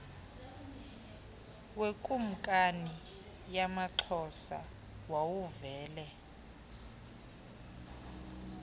wekumkani yamaxhosa wawuvele